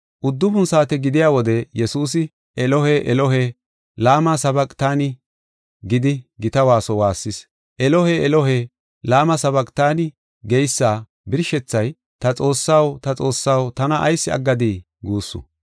Uddufun saate gidiya wode Yesuusi, “Elohe, Elohe, lama sabaqtanii?” gidi gita waaso waassis. “Elohe, Elohe, lama sabaqtanii?” geysa birshethay “Ta Xoossaw, ta Xoossaw, tana ayis aggadii?” guussu.